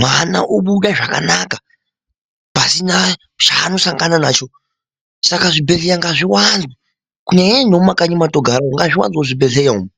mwana obude zvakanaka pasina zvaanosangana nazvo saka zvibhedheleya ngazviwande kunyanyanyanya nomumakanyi mwatogara ngazviwanzwewo zvibhedhleya umu.